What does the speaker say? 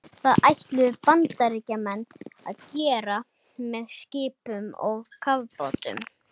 Það ætluðu Bandaríkjamenn að gera með skipum og kafbátum.